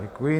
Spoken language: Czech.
Děkuji.